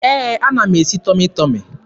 Ee, ana m esi Tọmị Tọmị.